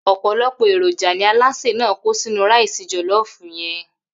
Ò̩pò̩lo̩pò̩ èròjà ni alásè náà kó sínú ráìsì jò̩ló̩ò̩fù ye̩n